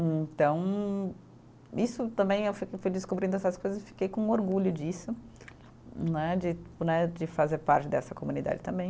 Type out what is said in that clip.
Então, isso também, eh eu fui fui descobrindo essas coisas e fiquei com orgulho disso né de, né de fazer parte dessa comunidade também.